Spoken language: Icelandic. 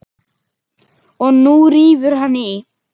Og nú rífur hann í.